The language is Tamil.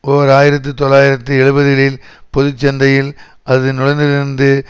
ஓர் ஆயிரத்தி தொள்ளாயிரத்து எழுபதுகளில் பொது சந்தையில் அது நுழைந்திருந்ததிலிருந்தே